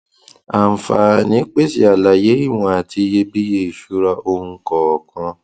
àǹfààní pèsè àlàyé ìwọn àti ìyebíye ìṣura ohun kọọkan